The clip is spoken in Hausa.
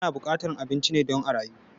Ana buƙatan abinci ne don a rayu